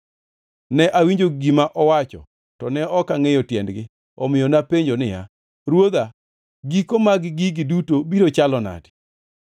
Ne awinjo gima owacho, to ne ok angʼeyo tiendgi. Omiyo napenjo niya, “Ruodha, giko mag gigi duto biro chalo nadi?”